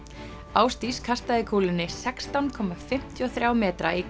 Ásdís kastaði kúlunni sextán komma fimmtíu og þriggja metra í